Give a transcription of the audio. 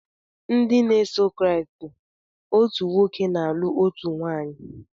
Nde na eso kriat, otu nwoke na alu otu nwanyị.